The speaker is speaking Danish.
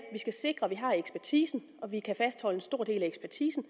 skal sikre at vi har ekspertisen og vi kan fastholde en stor del af ekspertisen og